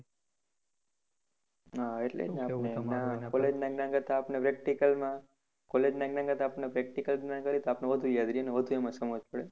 College ના આપણને practical માં college ના કરતા આપણને practical આપણે વધુ યાદ રહે અને વધુ એમાં સમજણ પડે.